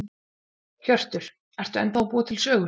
Hjörtur: Ertu ennþá að búa til sögur?